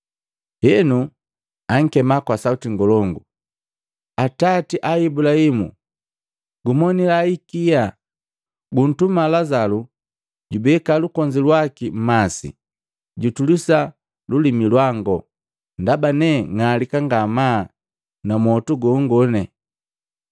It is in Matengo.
Henu ankema kwa sauti ngolongu, ‘Atati a Ibulahimu! Gumonila hikia! Guntuma Lazalu jubeka lukonzi lwaki mmasi, jutulisa lulimi lwango, ndaba ne ng'alika ngamaa na mmwotu gongo!’